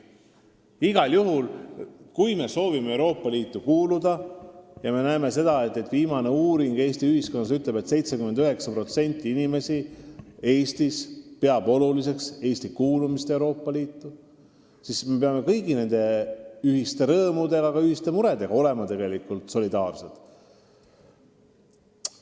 Igal juhul on nii, et kui me soovime Euroopa Liitu kuuluda – ja viimase Eesti ühiskonnas tehtud uuringu andmed ütlevad, et 79% Eesti elanikest peab oluliseks Eesti kuulumist Euroopa Liitu –, siis me peame solidaarselt jagama kõigi rõõme, aga ka ühiseid muresid.